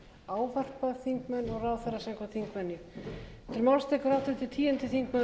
ávarpa þingmenn og ráðherra samkvæmt þingvenju